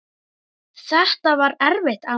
Þetta var erfitt amma mín.